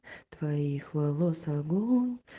твоих волос огонь